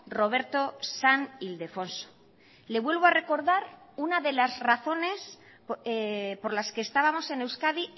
roberto san ildefonso le vuelvo a recordar una de las razones por las que estábamos en euskadi